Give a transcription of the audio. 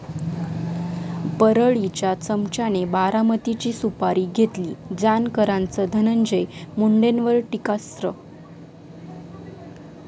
परळी'च्या चमच्याने 'बारामती'ची सुपारी घेतली, जानकरांचं धनंजय मुंडेंवर टीकास्त्र